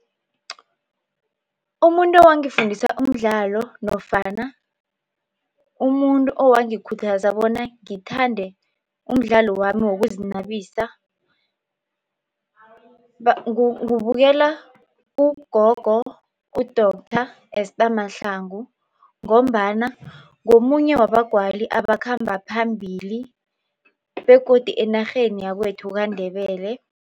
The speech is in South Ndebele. Umuntu owangifundisa umdlalo nofana umuntu owangikhuthaza bona ngithande umdlalo wami wokuzinabisa kubukela ugogo u-doctor Esther Mahlangu ngombana ngomunye wabagwali abakhamba phambili begodu enarheni yakwethu kaNdebele.